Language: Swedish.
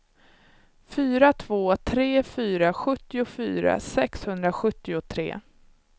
fyra två tre fyra sjuttiofyra sexhundrasjuttiotre